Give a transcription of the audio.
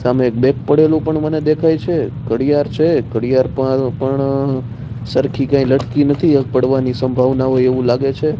સામે એક બેગ પડેલુ પણ મને દેખાય છે ઘડીયાળ છે ઘડીયાળ પ-પણ સરખી કઇ લટકી નથી પડવાની સંભવના હોઇ એવુ લાગે છે.